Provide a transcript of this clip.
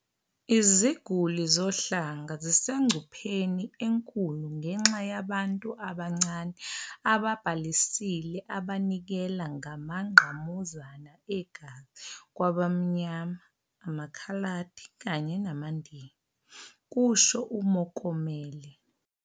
"Iziguli zohlanga zisengcupheni enkulu ngenxa yabantu abancane ababhalisile abanikela ngamangqamuzana egazi kwabamnyama, amakhaladi kanye namaNdiya," kusho uMokomele.